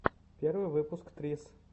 первый выпуск трисс